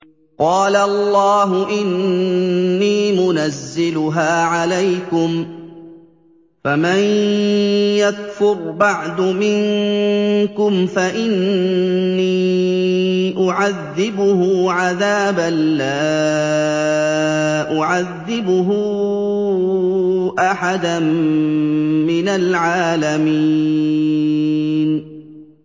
قَالَ اللَّهُ إِنِّي مُنَزِّلُهَا عَلَيْكُمْ ۖ فَمَن يَكْفُرْ بَعْدُ مِنكُمْ فَإِنِّي أُعَذِّبُهُ عَذَابًا لَّا أُعَذِّبُهُ أَحَدًا مِّنَ الْعَالَمِينَ